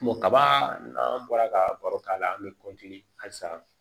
kaba n'an bɔra ka baro k'a la an be kɔntiniye halisa